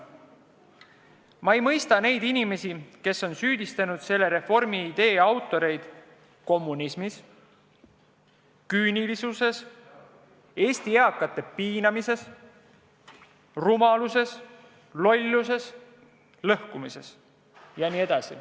Ma ei mõista neid inimesi, kes on süüdistanud selle reformi idee autoreid kommunismis, küünilisuses, Eesti eakate piinamises, rumaluses, lolluses, lõhkumises jne.